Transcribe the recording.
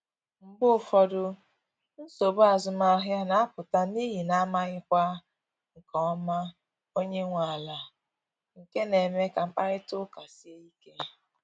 Mgbe ụfọdụ, nsogbu azụmahịa na apụta n’ihi na amaghịkwa nke ọma onye nwe ala, nke na eme ka mkparịta ụka sie ike